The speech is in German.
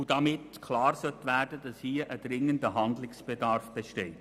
Damit sollte klar werden, dass ein dringender Handlungsbedarf besteht.